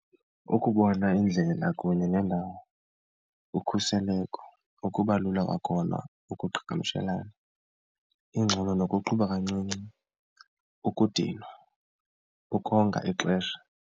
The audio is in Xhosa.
Ukubona indlela kunye neendawo, ukhuseleko, ukuba lula kwakhona ukuqhagamshelana, ingxolo nokuqhuba kancinci, ukudinwa, ukonga ixesha.